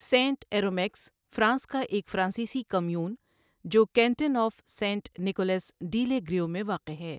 Saint عیرومیکز France کا ایک فرانسیسی کمیون جو کینٹن آف سینٹ نیقولس ڈی لے گریو میں واقع ہے۔